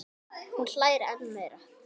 Hún hlær enn meira.